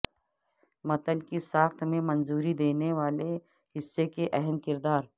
متن کی ساخت میں منظوری دینے والے حصہ کی اہم کردار